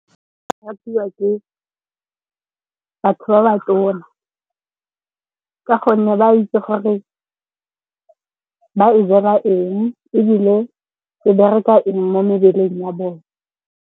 E ratiwa ke batho ba ba tona ka gonne ba itse gore ba e jela eng, ebile e bereka eng mo mebeleng ya bone.